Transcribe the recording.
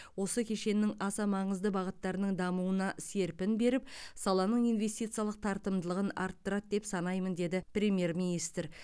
осы кешеннің аса маңызды бағыттарының дамуына серпін беріп саланың инвестициялық тартымдылығын арттырады деп санаймын деді премьер министр